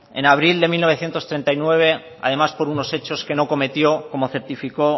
en abril de mil novecientos treinta y nueve además por unos hechos que no cometió como certificó